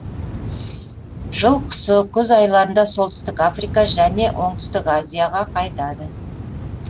жыл құсы күз айларында солтүстік африка жөне оңтүстік азияға қайтады